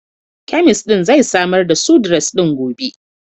Kemist din zai samar da Sudrez ɗin gobe.